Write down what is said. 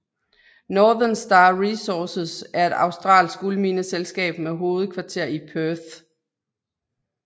Northern Star Resources er et australsk guldmineselskab med hovedkvarter i Perth